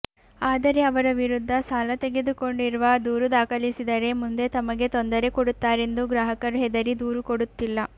ಆದರೆ ಅವರ ವಿರುದ್ಧ ಸಾಲ ತೆಗೆದುಕೊಂಡಿರುವ ದೂರು ದಾಖಲಿಸಿದರೆ ಮುಂದೆ ತಮಗೆ ತೊಂದರೆ ಕೊಡುತ್ತಾರೆಂದು ಗ್ರಾಹಕರು ಹೆದರಿ ದೂರು ಕೊಡುತ್ತಿಲ್ಲ